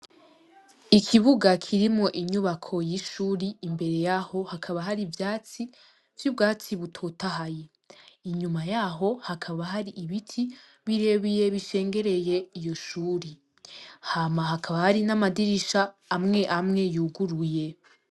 Ikibuga kirimwo inyubako y'ishuri, imbere yaho hakaba hari ivyatsi vy'ubwatsi butotahaye. Inyuma yaho hakaba hari ibiti birebire bishengereye iyo shure. hjanyuma hakaba hari n'amadirisha amwe amwe yuguruye.